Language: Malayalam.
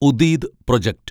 ഉദീദ് പ്രൊജക്റ്റ്